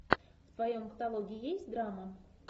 в твоем каталоге есть драма